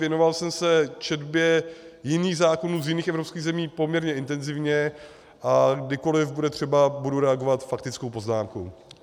Věnoval jsem se četbě jiných zákonů z jiných evropských zemí poměrně intenzivně, a kdykoliv bude třeba, budu reagovat faktickou poznámkou.